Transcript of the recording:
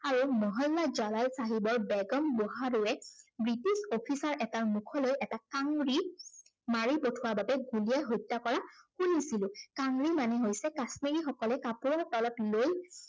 মহল্য়া জ্বালাই চাহাবৰ বেগম মহাৰুৱে, ব্ৰিটিছ officer ৰ এটাৰ মুখ লৈ এটা কাংড়ী মাৰি পথোৱাৰ বাবে গুলীয়াই হত্য়া কৰা শুনিছিলো। কাংৰী মানে হৈছে, কাশ্মিৰীসকলে কাপোৰৰ তলত লৈ